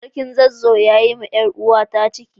sarkin zazzau ya Yi ma yaruwa na cikin